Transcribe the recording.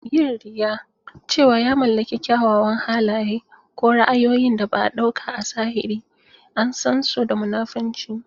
Yin riya cewa ya mallaki kyawawan halaye ko ra'ayoyin da ba a ɗauka a zahiri an san shi da munafunci.